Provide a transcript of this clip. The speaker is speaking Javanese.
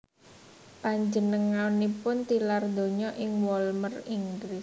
Panjenenganipun tilar donya ing Walmer Inggris